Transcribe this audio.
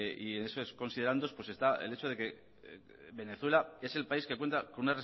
y en esos considerandos pues está el hecho de que venezuela es el país que cuenta con